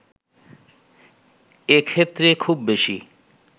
এক্ষেত্রে খুব বেশি